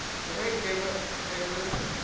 ge e ba e be